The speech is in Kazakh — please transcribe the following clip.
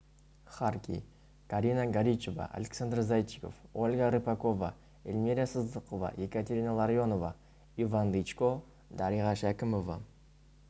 харки карина горичева александр зайчиков ольга рыпакова эльмира сыздықова екатерина ларионова иван дычко дариға шәкімова